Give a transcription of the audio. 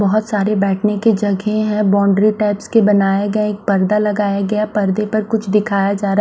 बहोत सारे बैठने की जगह है बाउंड्री टाइप्स के बनाए गए है एक पर्दा लगाया गया पर्दे पर कुछ दिखाई जा रहा--